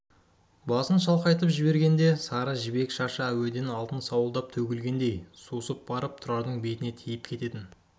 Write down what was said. басын шалқайтып жібергенде сары жібек шашы әуеден алтын сауылдап төгілгендей сусып барып тұрардың бетіне тиіп кететін